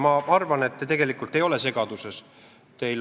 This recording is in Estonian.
Ma arvan, et te tegelikult ei ole segaduses.